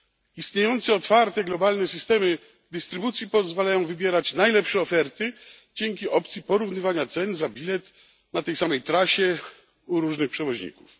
Istniejące otwarte globalne systemy dystrybucji pozwalają wybierać najlepsze oferty dzięki opcji porównywania cen za bilet na tej samej trasie u różnych przewoźników.